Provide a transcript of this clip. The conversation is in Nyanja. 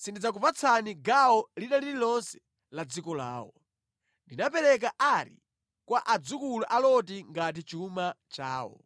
sindidzakupatsani gawo lina lililonse la dziko lawo. Ndinapereka Ari kwa adzukulu a Loti ngati chuma chawo.”